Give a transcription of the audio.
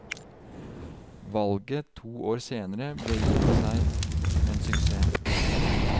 Valget to år senere ble i og for seg en suksess.